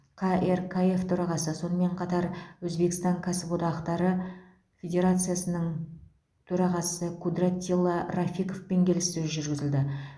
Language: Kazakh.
қркф төрағасы сонымен қатар өзбекстан кәсіподақтары федерациясының төрағасы кудратилла рафиковпен келіссөз жүргізді